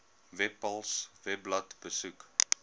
webpals webblad besoek